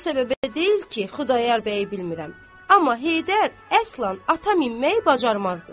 O səbəbə deyil ki, Xudayar bəyi bilmirəm, amma Heydər əslan ata minməyi bacarmazdı.